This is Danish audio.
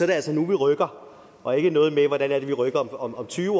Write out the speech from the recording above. det altså nu vi rykker og ikke noget med hvordan er det vi rykker om tyve år